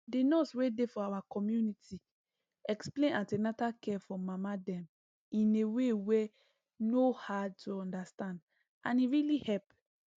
the nurse wey dey for our community explain an ten atal care for mama dem in a way wey no hard to understand and e really help